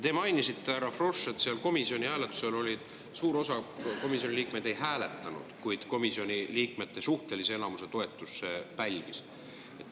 Te mainisite, härra Frosch, et komisjonis suur osa komisjoni liikmed ei hääletanud, kuid komisjoni liikmete suhtelise enamuse toetuse see pälvis.